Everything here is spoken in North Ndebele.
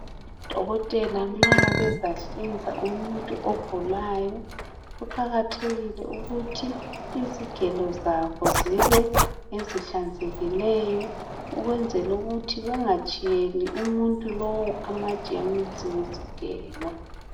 Odokotela nxa bezahlinza umuntu ogulayo . Kuqakathekile ukuthi izigelo zabo zibe ngezihlanzekileyo ukwenzela ukuthi bengatshiyeli umuntu lowu amajemusi ngezigelo.